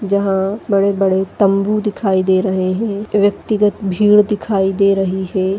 जहां बड़े बड़े तंबू दिखाई दे रहे है व्यक्तिगत भीड दिखाई दे रही है।